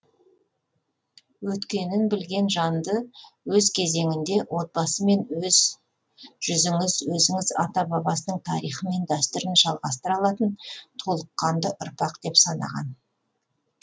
өткенін білген жанды өз кезеңінде отбасы мен өз жүзіңіз өзінің ата бабасының тарихы мен дәстүрін жалғастыра алатын толыққанды ұрпақ деп санаған